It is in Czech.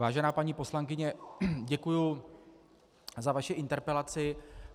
Vážená paní poslankyně, děkuji za vaši interpelaci.